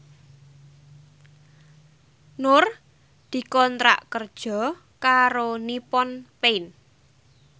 Nur dikontrak kerja karo Nippon Paint